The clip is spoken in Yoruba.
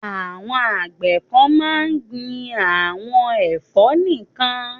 Àwọn àgbẹ̀ kan máa ń gbin àwọn ẹ̀fọ́ nìkan.